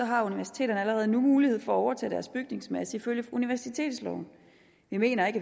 har universiteterne allerede nu mulighed for at overtage deres bygningsmasse ifølge universitetsloven vi mener ikke